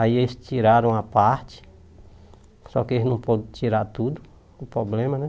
Aí eles tiraram a parte, só que eles não podiam tirar tudo, o problema, né?